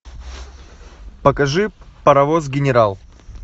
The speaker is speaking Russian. покажи паровоз генерал